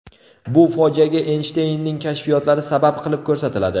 Bu fojiaga Eynshteynning kashfiyotlari sabab qilib ko‘rsatiladi.